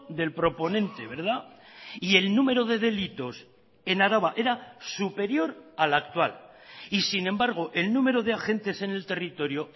del proponente y el número de delitos en araba era superior al actual y sin embargo el número de agentes en el territorio